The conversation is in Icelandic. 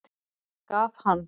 Gaf hann